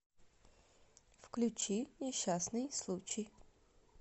включи несчастный случай